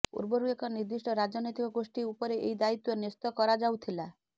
ପୂର୍ବରୁ ଏକ ନିର୍ଦ୍ଦିଷ୍ଟ ରାଜନୈତିକ ଗୋଷ୍ଠୀ ଉପରେ ଏହି ଦାୟିତ୍ୱ ନ୍ୟସ୍ତ କରାଯାଉଥିଲା